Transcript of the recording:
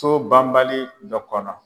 So banbali dɔ kɔnɔ